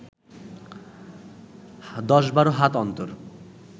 দশ বারো হাত অন্তর